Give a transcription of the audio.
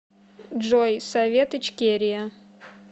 джой совет ичкерия